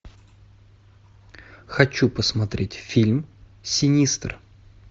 хочу посмотреть фильм синистер